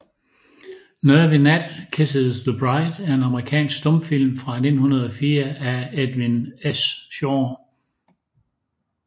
Nervy Nat Kisses the Bride er en amerikansk stumfilm fra 1904 af Edwin S